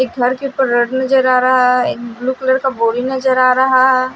ये घर के ऊपर रड नजर आ रहा है ब्लू कलर का बोरी नजर आ रहा है।